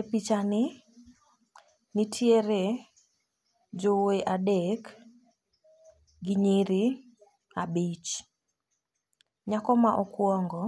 E picha ni nitiere jowuoyi adek gi nyiri abich. Nyako ma okuongo